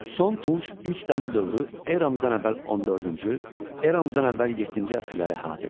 Son Tunc, İlk Dəmir dövrü eramızdan əvvəl 14-cü, eramızdan əvvəl yeddinci əsrləri əhatə edir.